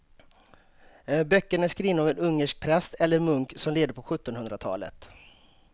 Böckerna är skrivna av en ungersk präst eller munk som levde på sjuttonhundratalet.